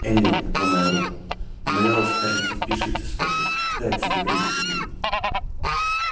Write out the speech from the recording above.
эллин ломая руки умоляла скарлетт не спешить со свадьбой дать себе время подумать